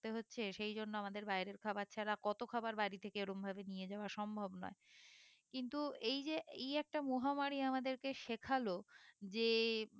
থাকতে হচ্ছে সেই জন্য আমাদের বাইরের খাবার ছাড়া কত খাবার বাড়ি থেকে ওরম ভাবে নিয়ে যাওয়া সম্ভব নয় কিন্তু এই যে এই একটা মহামারী আমাদেরকে শেখালো যে